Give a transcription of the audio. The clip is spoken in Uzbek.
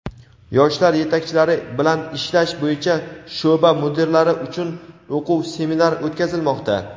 Yoshlar yetakchilari bilan ishlash bo‘yicha sho‘ba mudirlari uchun o‘quv seminar o‘tkazilmoqda.